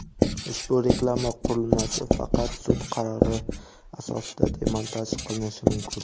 Ushbu reklama qurilmasi faqat sud qarori asosida demontaj qilinishi mumkin.